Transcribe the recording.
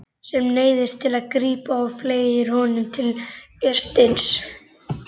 Sem neyðist til að grípa og fleygir honum til Vésteins.